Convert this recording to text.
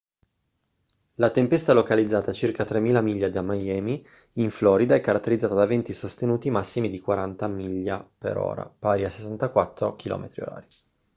la tempesta localizzata a circa 3.000 miglia da miami in florida è caratterizzata da venti sostenuti massimi di 40 mph pari a 64 km/h